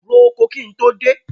Ro oko kí n tó dé.